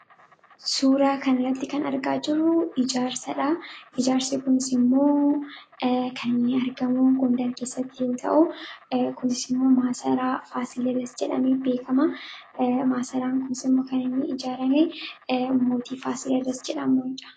Suura kan irratti kan argaa jirru ijaarsadha. Ijaarsi kunis immoo kan inni argamuGgondar keessatti yoo ta'uu kunis immoo maasaraa Faasilidaas jedhame beekama. masaraan kunsimoo kan inni ijaarame mootii Faasilidaas jedhamunidha.